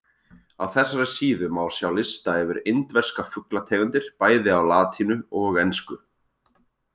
Á þessari síðu má sjá lista yfir indverska fuglategundir bæði á latínu og ensku.